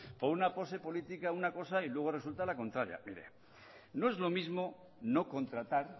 por una pose política una cosa y luego resulta la contraria mire no es lo mismo no contratar